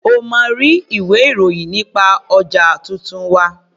O máa rí ilwé-ìròyì nípa ọjà tuntun wa.